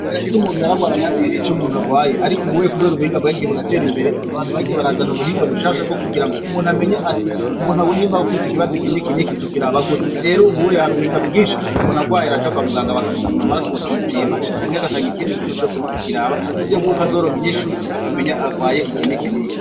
Imbere yese umuntu yararwaranamenye n'ico umuntu agwaye, ariko ubuwye, kubera ubuhinga bwagiye buratera imbere abantu bagiye barazana ubuhinga bushasha bwo kugira ngo umuntu amenye ati umuntu agunyimbae ufise ikibazi ikinikiniki tukira abagute rero ubuuye hari ubuhinga bwinshi umonuagwaye araja kwa muganga bakamuvuma amaraso bakamupima canke agatanga ikindi kintu cose bakakiraba uburyo bw'uko azoronka inyinshu akamenya agwaye ikinikinini.